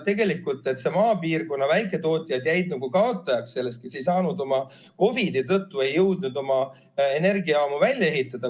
Tegelikult need maapiirkonna väiketootjad, kes ei saanud, ei jõudnud COVID-i tõttu oma energiajaamu välja ehitada, jäid kaotajaks.